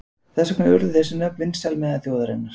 Þess vegna urðu þessi nöfn vinsæl meðal þjóðarinnar.